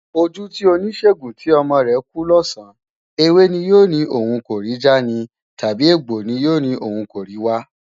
Ojú ti oníṣègùn tí ọmọ rẹ̀ kú lọ́sàn-án, ewé ni yóò ní òun kò rí já ni, tàbí egbò ni yóò ní òun kò rí wá?